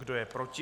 Kdo je proti?